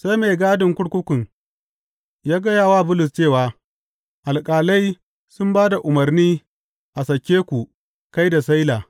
Sai mai gadin kurkukun ya gaya wa Bulus cewa, Alƙalai sun ba da umarni a sake ku kai da Sila.